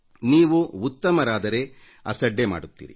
ನೀವು ಉತ್ತಮರಾದರೆ ಅಸಡ್ಡೆ ಮಾಡುತ್ತೀರಿ